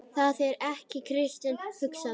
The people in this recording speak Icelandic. Það er ekki kristin hugsun.